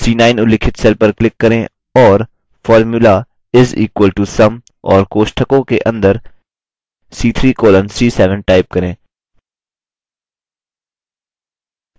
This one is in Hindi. c9 उल्लिखित cell पर click करें और formula is equal to sum और कोष्ठकों के अंदर c3 colon c7 टाइप करें